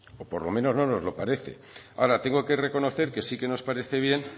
o por lo menos no nos lo parece ahora tengo que reconocer que sí que nos parece bien